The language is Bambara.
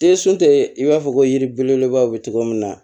i b'a fɔ ko yiri belebeleba bɛ cogo min na